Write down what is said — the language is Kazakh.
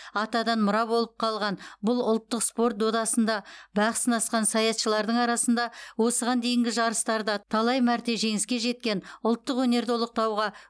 атадан мұра болып қалған бұл ұлттық спорт додасында бақ сынасқан саятшылардың арасында осыған дейінгі жарыстарда талай мәрте жеңіске жеткен ұлттық өнерді ұлықтауға